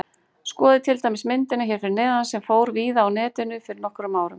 Skoðið til dæmis myndina hér fyrir neðan sem fór víða á Netinu fyrir nokkrum árum.